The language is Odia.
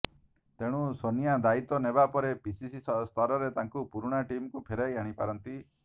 ତେଣୁ ସୋନିଆ ଦାୟୀତ୍ୱ ନେବା ପରେ ପିସିସି ସ୍ତରରେ ତାଙ୍କ ପୁରୁଣା ଟିମକୁ ଫେରାଇ ଆଣି ପାରନ୍ତି